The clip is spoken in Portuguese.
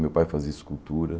Meu pai fazia escultura.